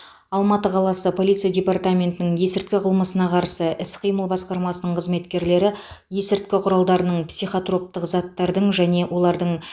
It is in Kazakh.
алматы қаласы полиция департаментінің есірткі қылмысына қарсы іс қимыл басқармасының қызметкерлері есірткі құралдарының психотроптық заттардың және олардың